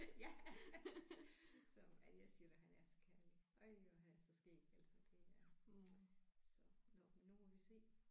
Ja så men jeg siger dig han er så kærlig øj hvor han er så skæg altså det er så nåh men nu må vi se